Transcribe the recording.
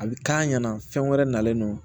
A bɛ k'a ɲɛna fɛn wɛrɛ nalen don